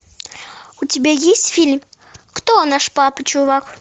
у тебя есть фильм кто наш папа чувак